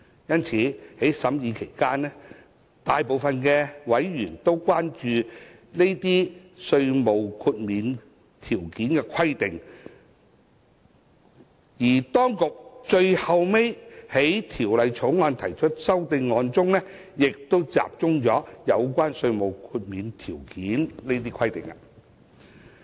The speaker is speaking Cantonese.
因此，在審議《條例草案》期間，大部分委員均關注有關稅務豁免條件規定；而當局最後就《條例草案》提出的修正案，亦集中在有關稅務豁免條件的規定。